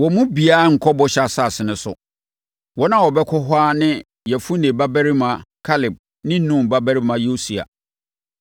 wɔn mu biara renkɔ Bɔhyɛ Asase no so. Wɔn a wɔbɛkɔ hɔ ara ne Yefune babarima Kaleb ne Nun babarima Yosua.